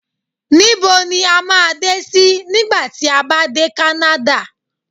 Nibo ni a ma de si nigba ti a ba de kanada?